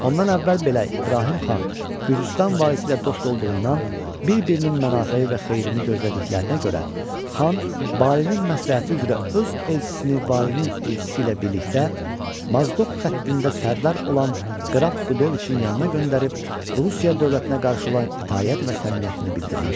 Ondan əvvəl belə İbrahim xan Gürcüstan valisi ilə dost olduğundan bir-birinin müsafəyi və xeyrini gözlədiklərinə görə xan valinin məsləhəti üzrə öz elçisini valinin elçisi ilə birlikdə Mazdoq xəttində sərdar olan Qraf Qudoviçin yanına göndərib, Rusiya dövlətinə qarşı olan itaət və səmimiyyətini bildirmişdi.